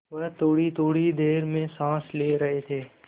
वह थोड़ीथोड़ी देर में साँस ले रहे थे